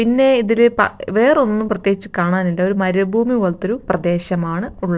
പിന്നെ ഇതൊര് പാ വേറൊന്നും പ്രത്യേകിച്ച് കാണാൻ ഇല്ല ഒരു മരുഭൂമി പോലത്തൊരു പ്രദേശമാണ് ഉൾ--